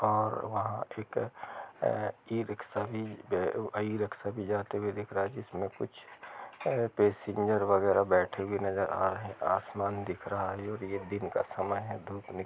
और वहाँ एक अ ई-रिक्सा भी अ ई-रिक्शा भी जाते दिख रा है जिस में कुछ पैसेंजर वग़ैरा बैठे हुए नजर आ रहे हैं आसमान दिख रा है और यह दिन का समय ही धूप नि--